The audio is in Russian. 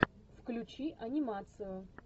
включи анимацию